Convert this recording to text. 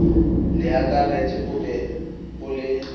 leakaretsi o be o le